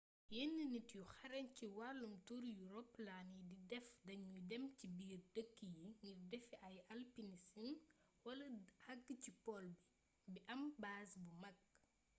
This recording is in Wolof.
yenn nit yu xarañ ci wallum tur yu roplaan yi di def dañuy dem ci biir dëkk yi ngir defi ay alpinism wala agg ci pole bi bi am baaz bu mag